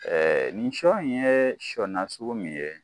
nin sɔ in ye sɔ nasugu min ye